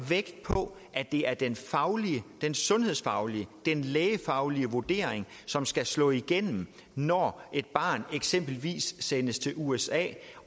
vægt på at det er den den sundhedsfaglige lægefaglige vurdering som skal slå igennem når et barn eksempelvis sendes til usa